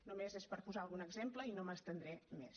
només és per posar algun exemple i no m’estendré més